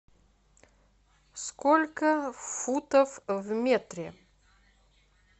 сколько футов в метре